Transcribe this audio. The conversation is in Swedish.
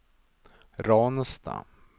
Ransta